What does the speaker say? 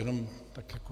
Jenom tak jako...